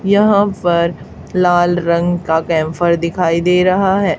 यहां पर लाल रंग का कैम्फर दिखाई दे रहा है।